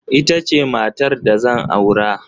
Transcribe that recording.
Ita ce matar da zan aura.